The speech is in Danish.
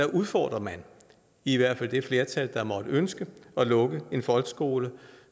udfordres i hvert fald det flertal der måtte ønske at lukke en folkeskole